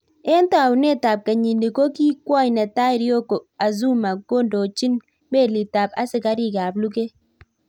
Eng taunet ap kenyini ko ki kwony netai Ryoko Azuma kondochin meliit ap Asikarik ap luget